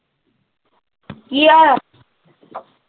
ਕੀ ਆਇਆ?